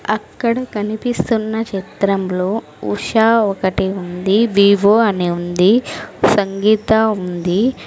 అక్కడ కనిపిస్తున్న చిత్రంలో ఉషా ఒకటి ఉంది వివో అని ఉంది సంగీత ఉంది.